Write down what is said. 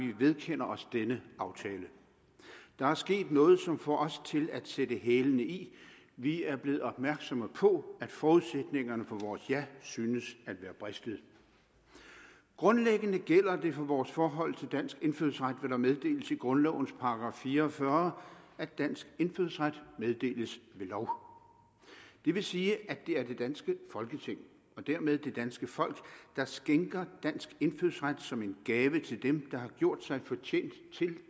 vi vedkender os denne aftale der er sket noget som får os til at sætte hælene i vi er blevet opmærksomme på at forudsætningerne for vores ja synes at være bristet grundlæggende gælder det for vores forhold til dansk indfødsret hvad der meddeles i grundlovens § fire og fyrre at dansk indfødsret meddeles ved lov det vil sige at det er det danske folketing og dermed det danske folk der skænker dansk indfødsret som en gave til dem der har gjort sig fortjent til